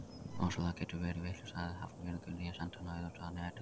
Ofsalega geturðu verið vitlaus sagði Hafnfirðingurinn, ég sendi hana auðvitað að næturlagi